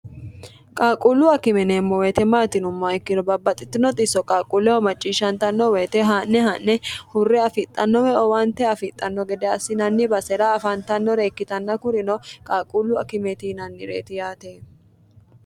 qaaqquullu akimeneemmo woyite maatinumma ikkino babbaxxitino xisso qaaqquulleho macciishshantanno woyite haa'ne ha'ne hurre afixxannowe owante afixxanno gede assinanni basera afaantannore ikkitanna kurino qaaquullu akimeti yinannireeti yaate